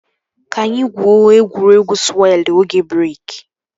Ka anyị gwuo egwuregwu sụwelụ oge breeki